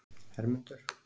Hermundur